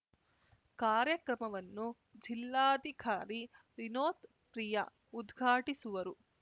ಕಾರ್ಯಕ್ರಮವನ್ನು ಜಿಲ್ಲಾಧಿಕಾರಿ ವಿನೋತ್‌ ಪ್ರಿಯಾ ಉದ್ಘಾಟಿಸುವರು